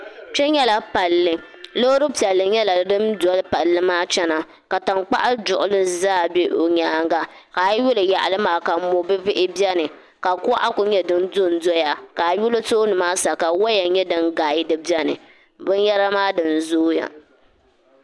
kpe nyɛla palli loori piɛlli nyɛla din doli palli maa chana ka tankpaɣu duɣinti zaa be o nyaanga ka a yi yuli yaɣili maa ka mo' bihibihi beni ka kuɣa kuli nyɛ din do n-doya ka a yuli tooni maa sa ka waya nyɛ din gaadi beni binyara maa dina zooya